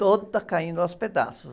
Toda caindo aos pedaços.